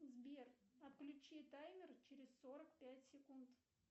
сбер отключи таймер через сорок пять секунд